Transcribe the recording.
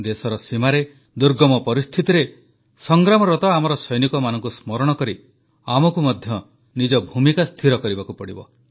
ଦେଶର ସୀମାରେ ଦୁର୍ଗମ ପରିସ୍ଥିତିରେ ସଂଗ୍ରାମରତ ଆମ ସୈନିକମାନଙ୍କୁ ସ୍ମରଣ କରି ଆମକୁ ମଧ୍ୟ ନିଜ ଭୂମିକା ସ୍ଥିର କରିବାକୁ ପଡ଼ିବ